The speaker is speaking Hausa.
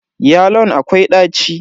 Yalon akwai daci.